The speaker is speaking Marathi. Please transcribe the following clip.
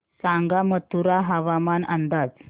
सांगा मथुरा हवामान अंदाज